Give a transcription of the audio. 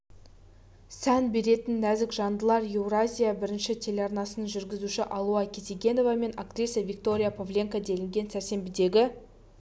сән беретін нәзік жандылар еуразия бірінші телеарнасының жүргізушісі алуа кетегенова мен актриса виктория павленко делінген сәрсенбідегі